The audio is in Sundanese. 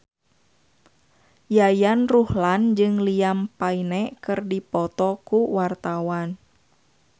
Yayan Ruhlan jeung Liam Payne keur dipoto ku wartawan